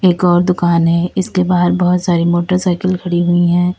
एक और दुकान है इसके बाहर बहोत सारी मोटरसाइकिल खड़ी हुई है।